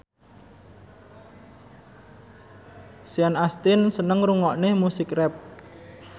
Sean Astin seneng ngrungokne musik rap